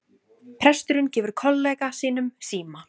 Presturinn gefur kollega sínum síma